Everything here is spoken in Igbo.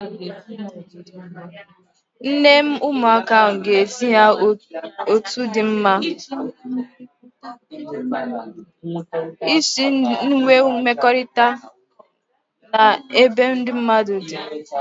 Nne ụmụaka ahụ ga-ezi ha otu dị mma isi nwee mmekọrịta n'ebe ndị mmadụ